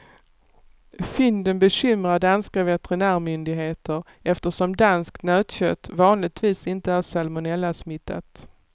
Fynden bekymrar danska veterinärmyndigheter eftersom danskt nötkött vanligtvis inte är salmonellasmittat.